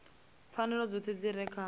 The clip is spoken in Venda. pfanelo dzoṱhe dzi re kha